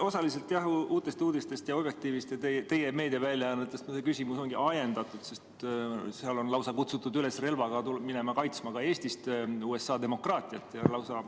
Osaliselt Uutest Uudistest, Objektiivist ja teie meediaväljaannetest küsimus ongi ajendatud, sest seal on lausa kutsutud üles minema ka Eestist relvaga USA demokraatiat kaitsma.